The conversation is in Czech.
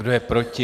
Kdo je proti?